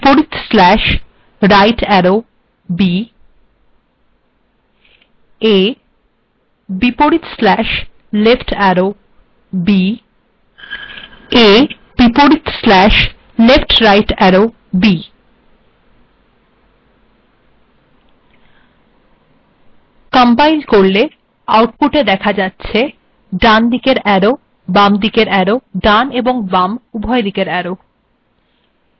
এবার লেখা যাক a \rightarrow b a \leftarrow b a \leftrightarrow b আউটপুটে দেখা যাচ্ছে ডানদিকের arrow বামিদেকর arrow বাম এবং ডান উভয়দিকের arrow